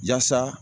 Yaasa